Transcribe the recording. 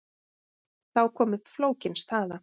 Þá kom upp flókin staða.